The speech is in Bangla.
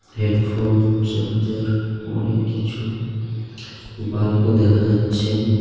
হেডফোন চার্জার অনেক কিছু বাল্পও দেখা যাচ্ছে.